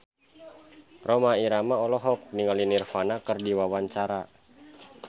Rhoma Irama olohok ningali Nirvana keur diwawancara